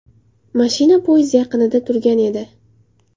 Mashina podyezd yaqinida turgan edi.